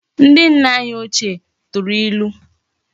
Ndi nna anyi ochie turu ilu